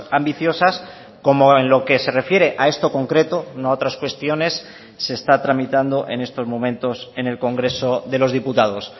ambiciosas como en lo que se refiere a esto concreto no a otras cuestiones se está tramitando en estos momentos en el congreso de los diputados